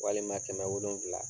Walima kɛmɛ wolonwula